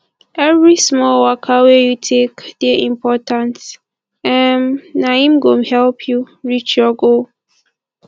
every small waka wey you take dey important um na im go help you reach your goal